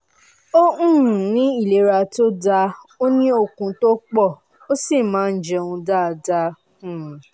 ó um ní ìlera tó dáa ó ní okun tó pọ̀ ó sì máa ń jẹun dáadáa um